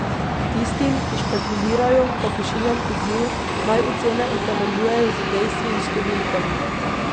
Tistim, ki špekulirajo, pa pošiljam poziv, naj ocene utemeljujejo z dejstvi in številkami.